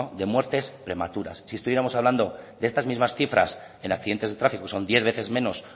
de muertes prematuras si estuviéramos hablando de estas mismas cifras en accidentes de tráfico son diez veces menos